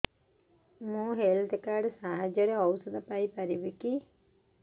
ମୁଁ health card ସାହାଯ୍ୟରେ ଔଷଧ ପାଇ ପାରିବି